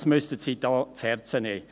Dies müssen Sie sich zu Herzen nehmen!